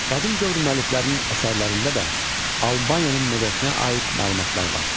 Qədim dövr müəlliflərinin əsərlərində də Albaniyanın mədəniyyətinə aid məlumatlar var.